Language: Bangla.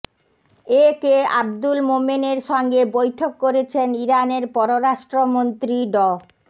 এ কে আব্দুল মোমেনের সঙ্গে বৈঠক করেছেন ইরানের পররাষ্ট্রমন্ত্রী ড